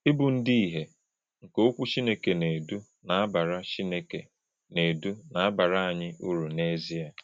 Ịbụ ndị ìhè nke Okwu Chineke na-edu na-abara Chineke na-edu na-abara anyị uru n’ezie.